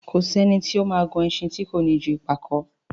Kò sí ẹni tí ó ma gùn ẹṣin tí kò ní ju ìpàkó